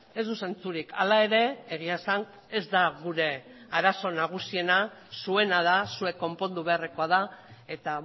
ez du zentsurik hala ere egia esan ez da gure arazo nagusiena zuena da zuek konpondu beharrekoa da eta